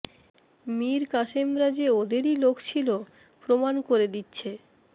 মির কাসেমরা যে ওদেরই লোক ছিল প্রমাণ করে দিচ্ছে